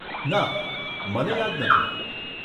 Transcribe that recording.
ના, મને યાદ નથી.